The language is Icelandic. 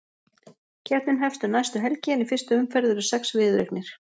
Keppnin hefst um næstu helgi en í fyrstu umferð eru sex viðureignir.